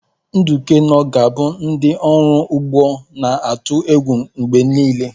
Nuke noh ga-abụ ndị ọrụ ugbo na-atụ egwu mgbe niile.